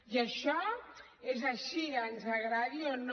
i això és així ens agradi o no